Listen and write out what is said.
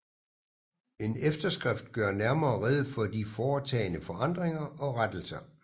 En efterskrift gør nærmere rede for de foretagne forandringer og rettelser